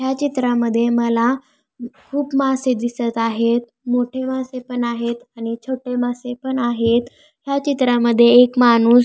ह्या चित्रामध्ये मला खूप मासे दिसत आहेत मोठे मासे पण आहेत आणि छोटे मासे पण आहेत ह्या चित्रामध्ये एक माणूस--